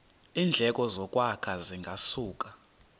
iindleko zokwakha zingasuka